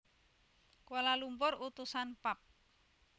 Kuala Lumpur Utusan Pub